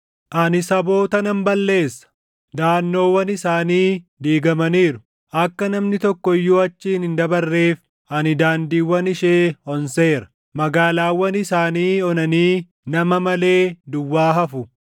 “Ani saboota nan balleessa; daʼannoowwan isaanii diigamaniiru. Akka namni tokko iyyuu achiin hin dabarreef ani daandiiwwan ishee onseera. Magaalaawwan isaanii onanii nama malee, duwwaa hafu.